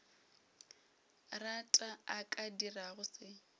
rata a ka dirago se